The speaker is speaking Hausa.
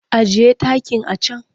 Ajiye takin a can!